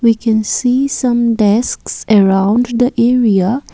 we can see some desk around the area.